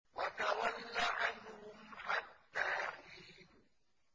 وَتَوَلَّ عَنْهُمْ حَتَّىٰ حِينٍ